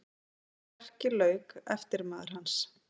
Því verki lauk eftirmaður hans